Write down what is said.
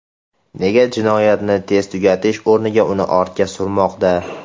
Nega jinoyatni tez tugatish o‘rniga uni ortga surmoqda?